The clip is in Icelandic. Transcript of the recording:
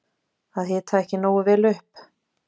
Að hita ekki nógu vel upp